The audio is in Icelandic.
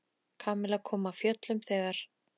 Kamilla kom af fjöllum þegar